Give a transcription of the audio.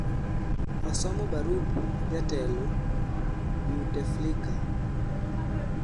osomo barup jatelo bouteflika